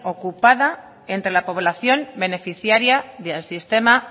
ocupada entre la población beneficiaria del sistema